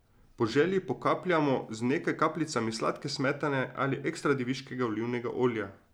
Po želji pokapljamo z nekaj kapljicami sladke smetane ali ekstradeviškega olivnega olja.